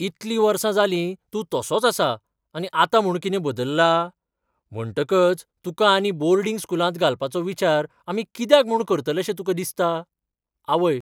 इतली वर्सां जालीं तूं तसोच आसा आनी आतां म्हूण कितें बदल्ला? म्हणटकच तुका आनी बोर्डिंग स्कूलांत घालपाचो विचार आमी कित्याक म्हूण करतलेशे तुका दिसता? आवय